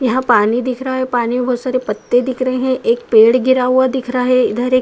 यहाँ पानी दिख रहा है। पानी मे बोहोत सारे पत्ते दिख रहे हैं। एक पेड़ गिरा हुआ दिख रहा है इधर एक --